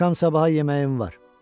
Axşam sabaha yeməyim var.